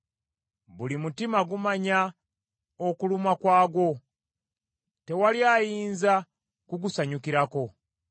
Buli mutima gumanya okulumwa kwagwo, tewali ayinza kugusanyukirako.